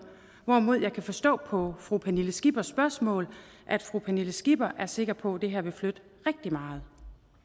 hvorimod jeg kan forstå på fru pernille skippers spørgsmål at fru pernille skipper er sikker på at det her vil flytte rigtig meget